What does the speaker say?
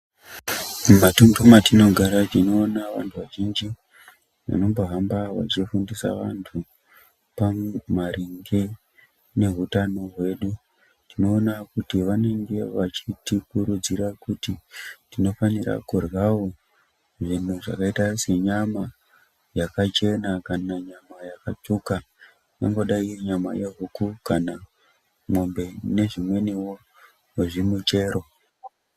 Mumatunhu mwatinogara tinoona vantu vazhinji vanombohamba vachifundisa vantu maringe neutano hwedu tinoona kuti vanenge vachitikurudzira kuti tinofanira kuryawo zvinhu zvakaita senyama yakachena kana yakatsvuka ingadai iri nyama yehuku kana yemombe nezvimweniwo zvimichero.